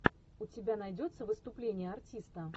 у тебя найдется выступление артиста